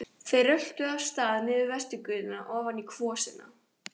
Þeir röltu af stað niður Vesturgötuna ofan í kvosina.